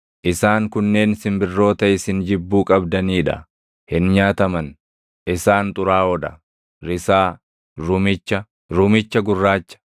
“ ‘Isaan kunneen simbirroota isin jibbuu qabdanii dha; hin nyaataman; isaan xuraaʼoo dha: risaa, rumicha, rumicha gurraacha,